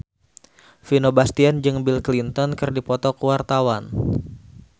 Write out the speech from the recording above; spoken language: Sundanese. Vino Bastian jeung Bill Clinton keur dipoto ku wartawan